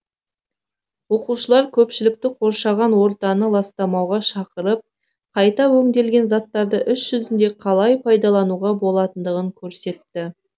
оқушылар көпшілікті қоршаған ортаны ластамауға шақырып қайта өңделген заттарды іс жүзінде қалай пайдалануға болатындығын көрсетті